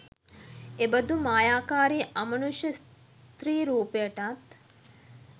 එබඳු මායාකාරී අමනුෂ්‍ය ස්ත්‍රී රූපයටත්